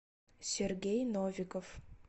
сергей новиков